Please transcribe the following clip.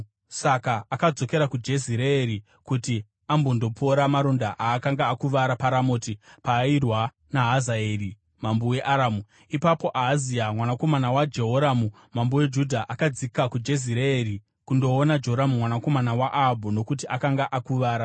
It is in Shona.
Saka akadzokera kuJezireeri kuti ambondopora maronda aakanga akuvara paRamoti paairwa naHazaeri mambo weAramu. Ipapo Ahazia mwanakomana waJehoramu mambo weJudha akadzika kuJezireeri kundoona Joramu mwanakomana waAhabhu nokuti akanga akuvara.